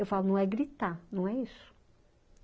Eu falo, não é gritar, não é isso.